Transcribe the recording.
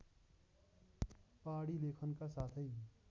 पहाडी लेखनका साथै